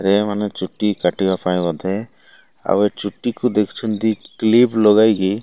ଏଇ ମାନେ ଚୁଟି କାଟିବା ପାଇଁ ବୋଧେ ଆଉ ଏ ଚୁଟିକି ଦେଖିଛନ୍ତି। କ୍ଲିପ୍ ଲଗାଇକି।